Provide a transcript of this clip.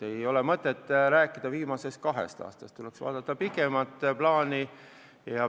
Ei ole mõtet rääkida viimasest kahest aastast, tuleks vaadata pikemat plaani.